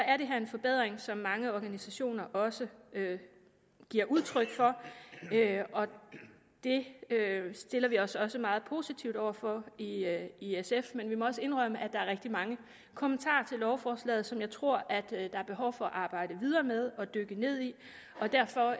er det her en forbedring som mange organisationer også giver udtryk for og det stiller vi os også meget positivt over for i sf men vi må også indrømme at der er rigtig mange kommentarer til lovforslaget som jeg tror der er behov for at arbejde videre med og dykke ned i og derfor